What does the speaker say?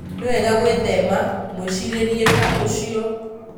Nĩ wega gwĩthema mwĩcirĩrie ta ucio.